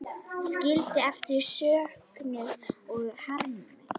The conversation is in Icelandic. Skildi eftir söknuð og harm.